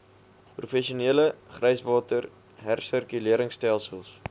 professionele gryswater hersirkuleringstelsels